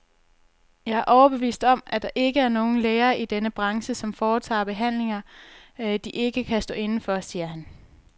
Jeg er overbevist om, at der ikke er nogen læger i denne branche, som foretager behandlinger, de ikke kan stå inde for, siger han.